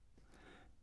05:03: Ping Pong